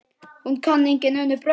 Hún kann engin önnur brögð.